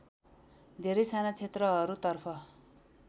धेरै साना क्षेत्रहरूतर्फ